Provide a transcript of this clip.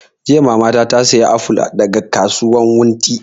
Jiya mama ta saya aful daga kasuwan wunti